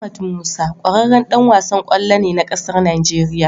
Ahmad musa kwararran Dan wasan kwallo ne na ƙasar Nigeria